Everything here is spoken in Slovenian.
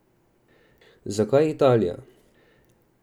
Zakaj Italija?